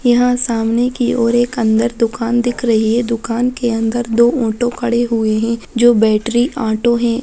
यहाँ सामने की ओर एक अंदर दुकान दिख रही है दुकान के अंदर दो ऑटो खड़े हुए है जो बैटरी ऑटो है।